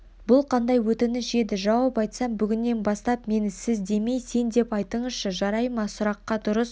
бұл қандай өтініш еді жауап айтсам бүгіннен бастап мені сіздемей сендеп айтыңызшы жарай ма сұраққа дұрыс